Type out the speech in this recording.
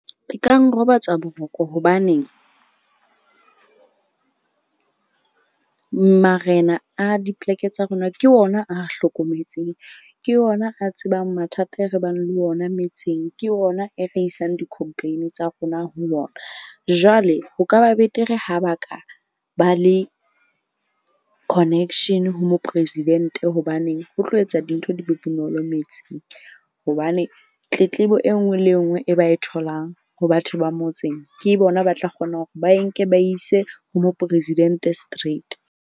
E ka nrobatse boroko. Hobaneng marena a dipoleke tsa rona ke ona a hlokometseng ke ona a tsebang mathata e re bang le ona metseng. Ke ona e re isang di-complain tsa rona ho yona. Jwale ho ka ba betere ha ba ka ba le connection ho mopresidente, hobaneng o tlo etsa dintho di be bonolo metse. Hobane tletlebo e nngwe le e nngwe e ba e tholang ho batho ba motseng, ke bona ba tla kgonang hore ba e nke ba e ise ho mopresidente straight.